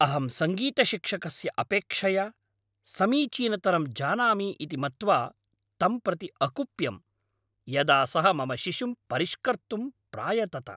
अहं सङ्गीतशिक्षकस्य अपेक्षया समीचीनतरं जानामि इति मत्वा तं प्रति अकुप्यम्, यदा सः मम शिशुं परिष्कर्तुं प्रायतत।